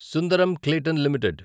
Sundaram Clayton limited